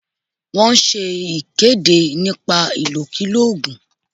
Wọ́n ṣe ìkéde nípa ìkòkulò ògùn